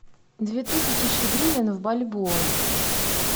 две тысячи гривен в бальбоа